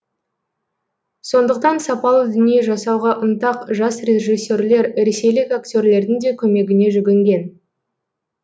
сондықтан сапалы дүние жасауға ынтақ жас режиссерлер ресейлік актерлердің де көмегіне жүгінген